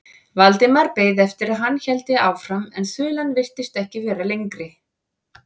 Valdimar beið eftir að hann héldi áfram en þulan virtist ekki vera lengri.